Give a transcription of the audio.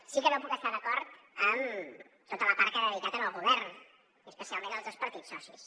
sí que no puc estar d’acord amb tota la part que ha dedicat al govern i especialment als dos partits socis